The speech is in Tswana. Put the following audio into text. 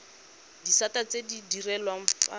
disata tse di direlwang fa